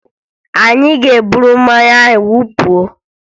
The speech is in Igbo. Anyị ga-eburu mmanya ahụ wụpụ